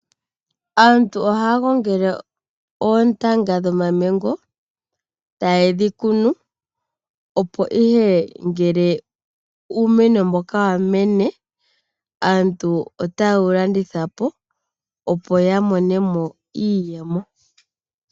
Aantu ohaya gongele oontanga dhomamamgo, taye dhi kunu opo ihe ngele uumeno mboka wa mene, aantu otaye wu landitha po, opo ya mone mo iiyemo.